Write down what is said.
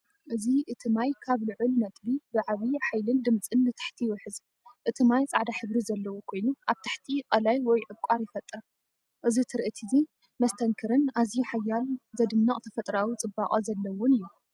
እዚ እቲ ማይ ካብ ልዑል ነጥቢ ብዓቢ ሓይልን ድምጽን ንታሕቲ ይውሕዝ። እቲ ማይ ጻዕዳ ሕብሪ ዘለዎ ኮይኑ ኣብ ታሕቲ ቐላይ ወይ ዕቋር ይፈጥር። እዚ ትርኢት እዚ መስተንክርን ኣዝዩ ሓያልን ዘደንቕ ተፈጥሮኣዊ ጽባቐ ዘለዎን እዩ።